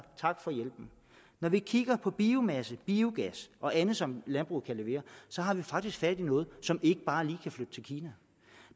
tak for hjælpen når vi kigger på biomasse biogas og andet som landbruget kan levere har vi faktisk fat i noget som ikke bare lige kan flytte til kina